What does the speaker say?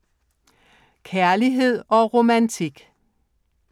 Kærlighed og romantik